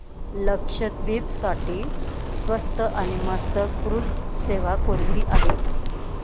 लक्षद्वीप साठी स्वस्त आणि मस्त क्रुझ सेवा कोणती आहे